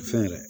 Fɛn yɛrɛ